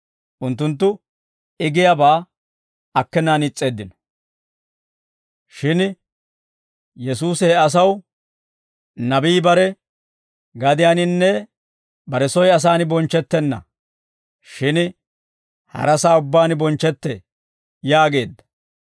Unttunttu I giyaabaa akkenaan is's'eeddino. Shin Yesuusi he asaw, «Nabii bare gadiyaaninne bare soy asaan bonchchettenna; shin harasaa ubbaan bonchchetee» yaageedda.